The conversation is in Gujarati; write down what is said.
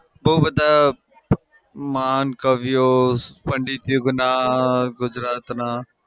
બઉ બધા મહાન કવિઓ પંડિત ગુજરાતના